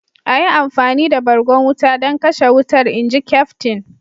"A yi amfani da bargon wuta don kashe wutar!" inji Kyaftin?